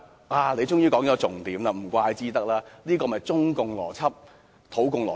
"他終於說出重點，怪不得，這就是中共邏輯、土共邏輯。